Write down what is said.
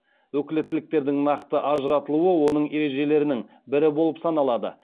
өкілеттіктердің нақты ажыратылуы оның ережелерінің бірі болып саналады